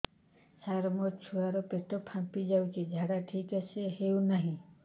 ସାର ମୋ ଛୁଆ ର ପେଟ ଫାମ୍ପି ଯାଉଛି ଝାଡା ଠିକ ସେ ହେଉନାହିଁ